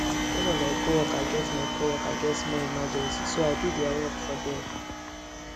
one of my coworker get my coworker get small emergency so i do their work for dem